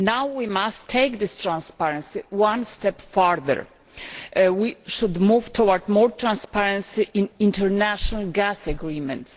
We must now take this transparency one step further. We should move towards more transparency in international gas agreements.